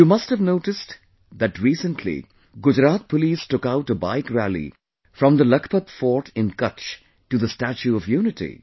You must have noticed that recently Gujarat Police took out a Bike rally from the Lakhpat Fort in Kutch to the Statue of Unity